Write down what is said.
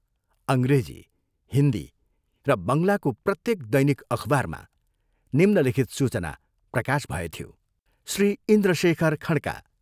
अंग्रेजी, हिन्दी र बंगलाको प्रत्येक दैनिक अखबारमा निम्नलिखित सूचना प्रकाश भएथ्यो, श्री इन्द्रशेखर खँडका,